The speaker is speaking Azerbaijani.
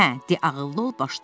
Hə, de, ağıllı ol başda.